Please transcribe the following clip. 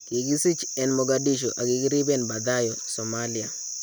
Kikisich en Mogadishu akbkeribeen Baydhabo , Somalia.